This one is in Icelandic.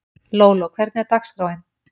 Lóló, hvernig er dagskráin?